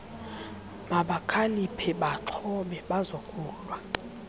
mabakhaliphe baaxhobe bazokulwa